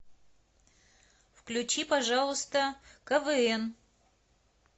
включи пожалуйста квн